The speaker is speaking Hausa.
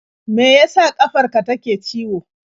Me ya sa ƙafar ka take ciwo?